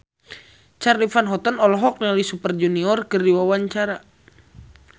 Charly Van Houten olohok ningali Super Junior keur diwawancara